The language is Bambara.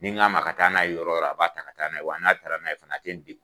Ni n' ka ma a ka taa n'a ye yɔrɔ o yɔrɔ , a b'a ta ka taa' na ye, wa n'a taala n'a ye fana tana a tɛ n